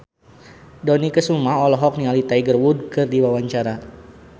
Dony Kesuma olohok ningali Tiger Wood keur diwawancara